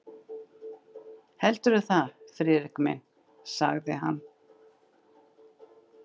Heldurðu það, Friðrik minn? sagði hann.